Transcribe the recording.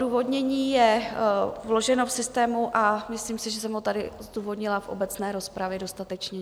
Odůvodnění je vloženo v systému a myslím si, že jsem ho tady zdůvodnila v obecné rozpravě dostatečně.